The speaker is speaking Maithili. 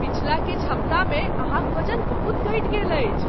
पछिला किछु हप्ता मे अहाँक वजन बहुत घटि गेल अछि ।